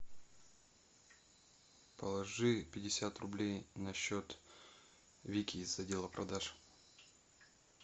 положи пятьдесят рублей на счет вики из отдела продаж